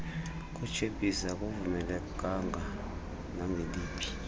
kwetshephisi akuvumelekanga nangeliphi